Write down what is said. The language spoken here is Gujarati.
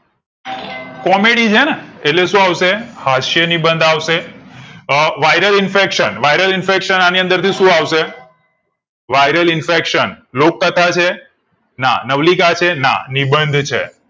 comedy છે ને એટલે શું આવશે હાસ્ય નિબંધ આવશે અ viral infaction viral infaction viral infection લોક કથા છે ના નવલિકા છે ના નિબંધ છે